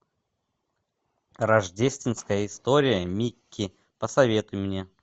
рождественская история микки посоветуй мне